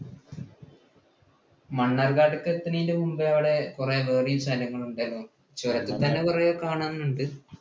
മണ്ണാർക്കാട് ഒക്കെ എത്തുന്നതിനു മുമ്പേ അവിടെ കുറെ വേറെയും സ്ഥലങ്ങൾ ഉണ്ടല്ലോ. ചുരത്തിൽ തന്നെ കുറെ കാണാനുണ്ട്.